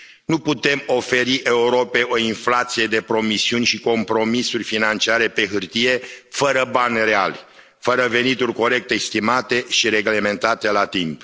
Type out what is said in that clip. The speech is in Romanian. Nu putem oferi Europei o inflație de promisiuni și compromisuri financiare pe hârtie fără bani reali, fără venituri corect estimate și reglementate la timp.